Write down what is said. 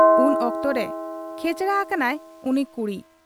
ᱩᱱ ᱚᱠᱛᱚᱨᱮ ᱠᱷᱮᱪᱲᱟ ᱟᱠᱟᱱᱟᱭ ᱩᱱᱤ ᱠᱩᱲᱤ ᱾